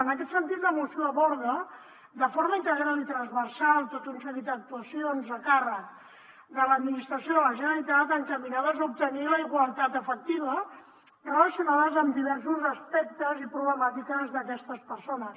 en aquest sentit la moció aborda de forma integral i transversal tot un seguit d’actuacions a càrrec de l’administració de la generalitat encaminades a obtenir la igualtat efectiva relacionades amb diversos aspectes i problemàtiques d’aquestes persones